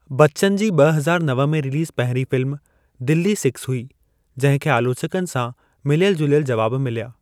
बच्चन जी ॿ हज़ार नव में रिलीज़ पहिरीं फिल्म दिल्ली-छह हुई जंहिं खे आलोचकनि सां मिलियल जुलियल जवाब मिलिया।